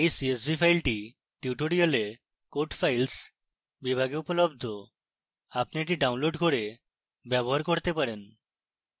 এই csv file tutorial code files বিভাগে উপলব্ধ আপনি এটি download করে ব্যবহার করতে পারেন